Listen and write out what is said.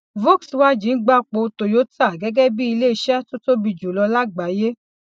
volkswagen gbapò toyota gẹgẹ bí iléiṣẹ tó tóbi jùlọ lágbàáyé